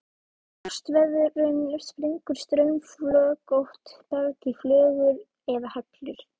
Við frostveðrun springur straumflögótt berg í flögur eða hellur.